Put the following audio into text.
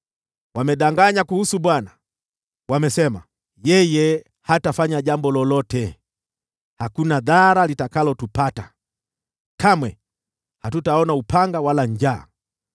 Wamedanganya kuhusu Bwana . Wamesema, “Yeye hatafanya jambo lolote! Hakuna dhara litakalotupata; kamwe hatutaona upanga wala njaa.